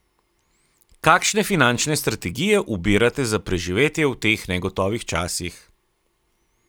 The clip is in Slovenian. Kakšne finančne strategije ubirate za preživetje v teh negotovih časih?